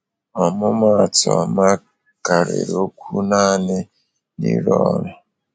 ọmụmụ atụ ọma karịrị okwu naanị n’ịrụ ọrụ.